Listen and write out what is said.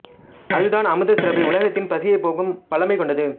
அது தான் அமுதசுரபி உலகத்தின் பசியை போக்கும் வல்லமைக் கொண்டது